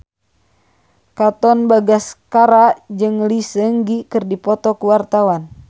Katon Bagaskara jeung Lee Seung Gi keur dipoto ku wartawan